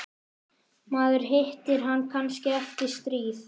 Maður hittir hann kannski eftir stríð.